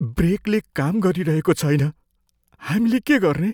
ब्रेकले काम गरिरहेको छैन। हामीले के गर्ने?